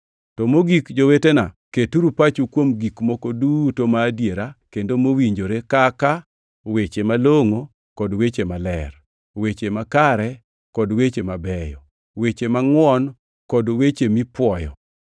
To mogik, jowetena, keturu pachu kuom gik moko duto madiera kendo mowinjore kaka: weche malongʼo kod weche maler, weche makare, kod weche mabeyo, weche mangʼwon kod weche mipuoyo.